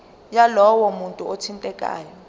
yalowo muntu othintekayo